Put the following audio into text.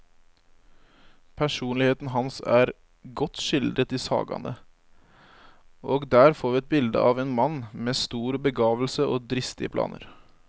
Personligheten hans er godt skildret i sagaene, og der får vi et bilde av en mann med stor begavelse og dristige planer.